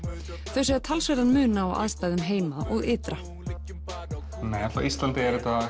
þau segja talsverðan mun á aðstæðum heima og ytra hér á Íslandi er þetta